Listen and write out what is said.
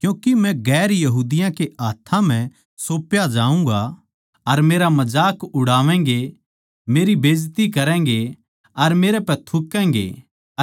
क्यूँके मै गैर यहूदियाँ कै हाथ्थां म्ह सौप्या जाऊँगा अर मेरा मजाक उड़ावेगें मेरी बेइज्जती करैंगें अर मेरे पै थूकैगें